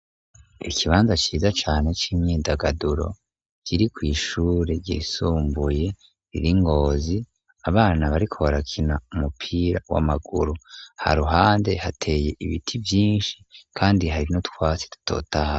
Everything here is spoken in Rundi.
Ikibanza ciza cane c'imyidagaduro kiri kw'ishure ryisumbuye riri i Ngozi. Abana bariko barakina umupira w'amaguru. Haruhande hateye ibiti vyinshi, kandi hari n'utwasi dutotahaye.